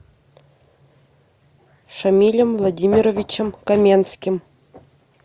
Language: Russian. шамилем владимировичем каменским